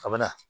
A bɛ na